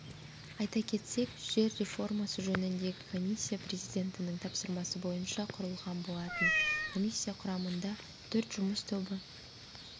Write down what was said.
айта кетсек жер реформасы жөніндегі комиссия президенттің тапсырмасы бойынша құрылған болатын комиссия құрамында төрт жұмыс тобы